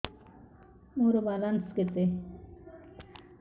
ମୋର ବାଲାନ୍ସ କେତେ